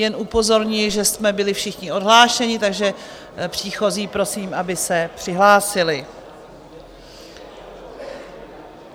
Jen upozorňuji, že jsme byli všichni odhlášeni, takže příchozí prosím, aby se přihlásili.